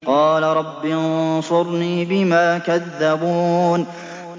قَالَ رَبِّ انصُرْنِي بِمَا كَذَّبُونِ